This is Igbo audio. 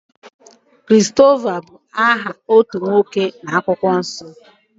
Christopher bú aha otú nwoke na-akwukwo nsọ.